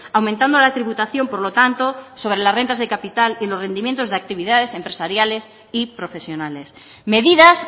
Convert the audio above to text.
aumentando la tributación por lo tanto sobre las rentas de capital y rendimientos de actividades empresariales y profesionales medidas